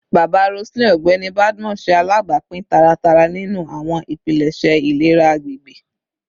Baba Roseline, Ọgbẹni Badmus, ṣe alabapin taratara ninu awọn ipilẹṣẹ ilera agbegbe